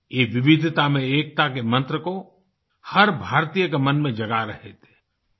वे विविधिता में एकता के मंत्र को हर भारतीय के मन में जगा रहे थेआई